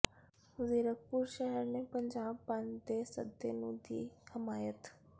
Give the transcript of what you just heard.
ਜ਼ੀਰਕਪੁਰ ਸ਼ਹਿਰ ਨੇ ਪੰਜਾਬ ਬੰਦ ਦੇ ਸੱਦੇ ਨੂੰ ਦੀ ਹਮਾਇਤ